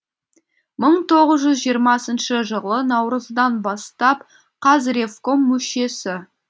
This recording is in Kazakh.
мың тоғыз жүз жиырмасыншы жылы наурыздан бастап қазревком мүшесі